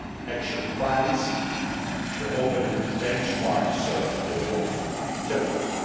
action plans and the opening benchmarks for both chapters.